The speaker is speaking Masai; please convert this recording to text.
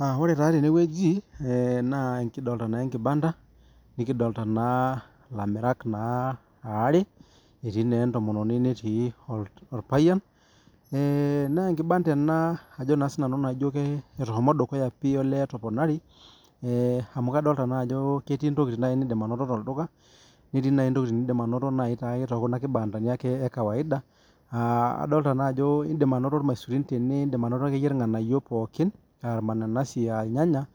Ah ore taa tene wueji eh naa, ekidolita naa ekibanda, nikidolita naa ilamirak naa, aare, etii naa etomononi netii orpayian. Nee ekibanda ena ajo naa sinanu naijo eshomo dukuya pi olee etoponari. Eh amu, kadolita naa ajo ketii intokitin nidim naaji anoto tolduka netii intokitin nidim naaji anoto tokuna kibandani ake, ekawaida. Ah kadolita naa ajo idim anoto irmaisurin tene wueji naa idim anoto akeyie irnganayio pookin, ah irmananasi, ah irnyanya,